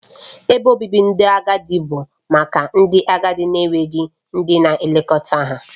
Ebe obibi ndị agadi bụ maka ndị agadi na-enweghị ndị na-elekọta ha